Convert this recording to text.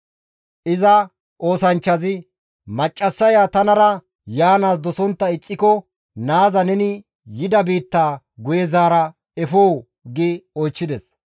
Iza oosanchchazi, «Maccassaya tanara yaanaas dosontta ixxiko naaza neni yida biittaa guye zaara efoo?» gi oychchides.